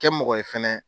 Kɛ mɔgɔ ye fɛnɛ